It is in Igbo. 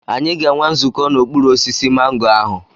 Anyị ga-enwe nzukọ n'okpuru osisi mango ahụ.